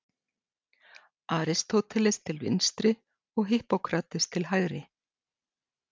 Aristóteles til vinstri og Hippókrates til hægri.